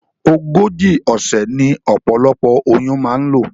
Ogójì òsè ní opolopo oyún ma n lò